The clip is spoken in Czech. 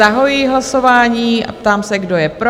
Zahajuji hlasování a ptám se, kdo je pro?